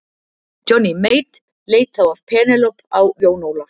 Johnny Mate leit þá af Penélope á Jón Ólaf.